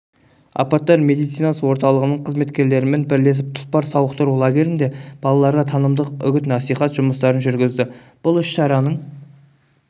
апаттар медицинасы орталығының қызметкерлерімен бірлесіп тұлпар сауықтыру лагерінде балаларға танымдық үгіт-насихат жұмыстарын жүргізді бұл іс-шараның